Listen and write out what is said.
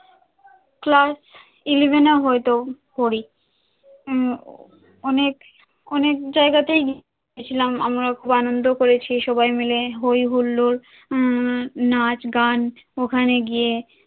class eleven এ হয়তো পরি, আহ অনেক অনেক জায়গাতেই আমরা গেছিলাম আনন্দ করেছি সবাই মিলে হই হুল্লোর উম নাচ গান ওখানে গিয়ে